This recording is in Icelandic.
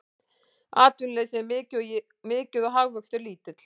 Atvinnuleysi er mikið og hagvöxtur lítill